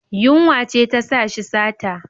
Yunwa ce ta sa shi sata.